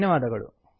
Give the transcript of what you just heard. ಧನ್ಯವಾದಗಳು